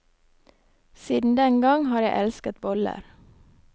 Siden den gang har jeg elsket boller.